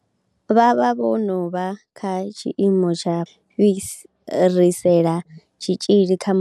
Vha vha vho no vha kha tshiimo tsha fhasisa tsha u fhirisela tshitzhili kha muṅwe.